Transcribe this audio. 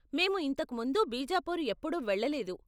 మేము ఇంతకు ముందు బీజాపూర్ ఎప్పుడూ వెళ్ళలేదు.